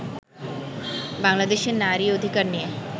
বাংলাদেশে নারী অধিকার নিয়ে